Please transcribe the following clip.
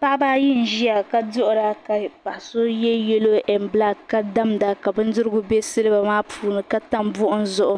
paɣ' ba ayi n ʒɛya ka paɣ' so yɛ nɛn nɛdozim ka so yɛ nɛsabila ka damda ka bɛndigu bɛ siliba maa puuni ka tam buɣ'gim zʋɣ'